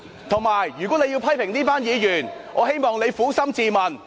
再者，如果你要批評這群議員，我希望你撫心自問。